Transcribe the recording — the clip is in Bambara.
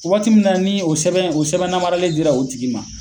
Waati min na ni o sɛbɛn, o sɛbɛn namaralen dira o tigi ma